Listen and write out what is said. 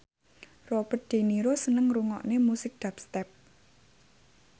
Robert de Niro seneng ngrungokne musik dubstep